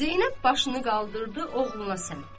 Zeynəb başını qaldırdı oğluna səmt.